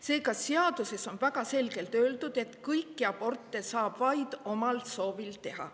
" Seega, seaduses on väga selgelt öeldud, et kõiki aborte saab teha vaid omal soovil.